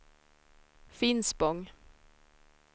Finspång